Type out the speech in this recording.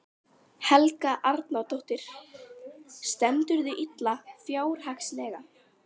Helga Arnardóttir: Stendurðu illa fjárhagslega?